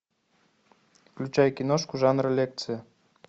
включай киношку жанра лекция